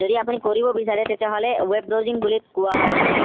যদি আপুনি কৰিব বিছাৰে তেতিয়া হলে web browsing বুলি কোৱা হয় তাক